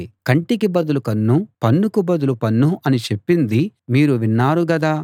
కంటికి బదులు కన్ను పన్నుకు బదులు పన్ను అని చెప్పింది మీరు విన్నారు గదా